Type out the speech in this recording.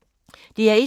DR1